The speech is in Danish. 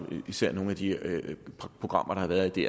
og især nogle af de programmer der har været i